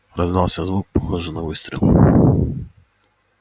раздался звук похожий на выстрел